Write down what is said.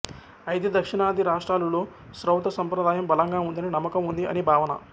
అయితే దక్షిణాది రాష్ట్రాలులో శ్రౌత సంప్రదాయం బలంగా ఉందని నమ్మకం ఉంది అని భావన